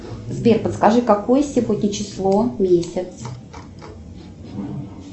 сбер подскажи какое сегодня число месяц